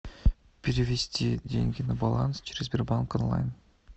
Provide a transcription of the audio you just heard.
перевести деньги на баланс через сбербанк онлайн